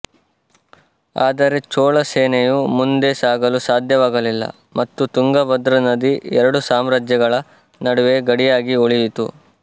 ಆದರೆ ಚೋಳ ಸೇನೆಯು ಮುಂದೆ ಸಾಗಲು ಸಾಧ್ಯವಾಗಲಿಲ್ಲ ಮತ್ತು ತುಂಗಭದ್ರಾ ನದಿ ಎರಡು ಸಾಮ್ರಾಜ್ಯಗಳ ನಡುವೆ ಗಡಿಯಾಗಿ ಉಳಿಯಿತು